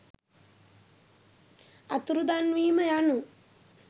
අතුරුදන්වීම යනු